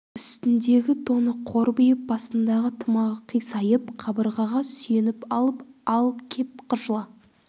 үстіндегі тоны қорбиып басындағы тымағы қисайып қабырғаға сүйеніп алып ал кеп жыла